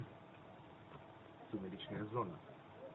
сумеречная зона